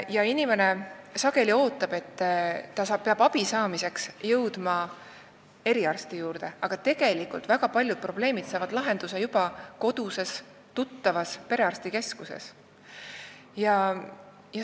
Vahel inimene arvab, et ta peab abi saamiseks jõudma eriarsti juurde, aga tegelikult saavad väga paljud probleemid lahenduse juba koduses tuttavas perearstikeskuses.